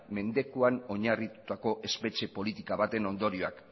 mendekuan oinarritutako espetxe politika baten ondorioak